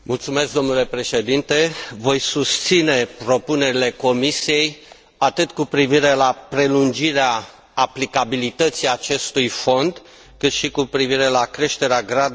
Voi susține propunerile Comisiei, atât cu privire la prelungirea aplicabilității acestui fond, cât și cu privire la creșterea gradului de cofinanțare.